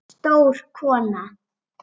Stór kona.